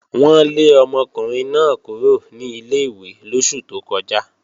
Wọ́n lé ọmọkùnrin náà kúrò ní ilé-ìwé lóṣù tó kọjá